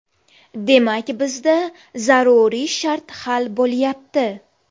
Demak, bizda zaruriy shart hal bo‘lyapti.